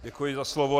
Děkuji za slovo.